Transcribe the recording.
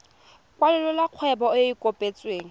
kwalolola kgwebo e e kopetsweng